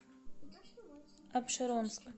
апшеронск